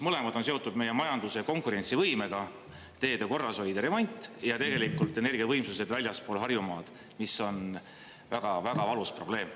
Mõlemad on seotud meie majanduse ja konkurentsivõimega: teede korrashoid ja remont ja energiavõimsused väljaspool Harjumaad, mis on väga-väga valus probleem.